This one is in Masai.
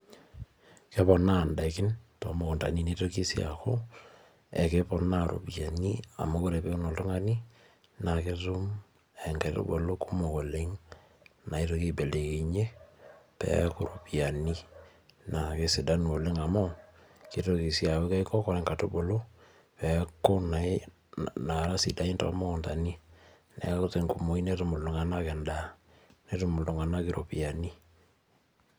Keponaa daikin too mukuntani neitoki sii aku ekeponaa iropiyiani, amu ore peeun oltungani naa ketum nkaitubulu kumok oleng naitoki aibelekenyie peeku iropiyiani, naa kesidanu oleng amu, keitoki sii aaku Keiko, ore nkaitubulu, naara sidaiin too mukuntani. Neeku tenkumoi, netum iltunganak edaa netum iltunganak iropiyiani.